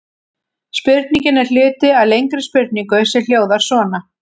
Spurningin er hluti af lengri spurningu sem hljóðar svona: